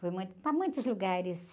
Fui muito para muitos lugares.